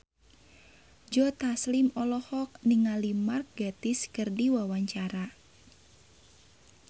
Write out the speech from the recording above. Joe Taslim olohok ningali Mark Gatiss keur diwawancara